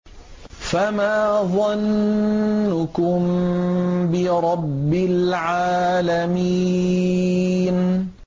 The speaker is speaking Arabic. فَمَا ظَنُّكُم بِرَبِّ الْعَالَمِينَ